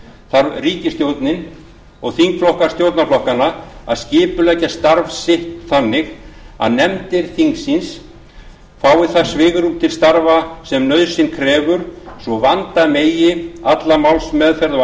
þarf ríkisstjórnin og þingflokkar stjórnarflokkanna að skipuleggja starf sitt þannig að nefndir þingsins fái það svigrúm til starfa sem nauðsyn krefur svo vanda megi alla málsmeðferð á